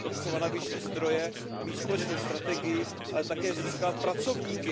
Je třeba navýšit zdroje, mít společnou strategii, ale také získat pracovníky.